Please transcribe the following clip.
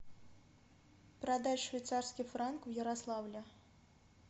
продать швейцарский франк в ярославле